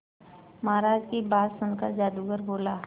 महाराज की बात सुनकर जादूगर बोला